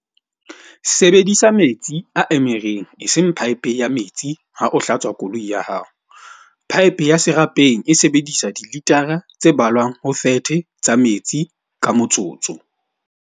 Sebedisa metsi a emereng eseng paepe ya metsi ha o hlatswa koloi ya hao. Paepe ya serapeng e sebedisa dilitara tse ballwang ho 30 tsa metsi ka motsotso.